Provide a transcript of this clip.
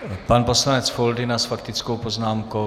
Pan poslanec Foldyna s faktickou poznámkou.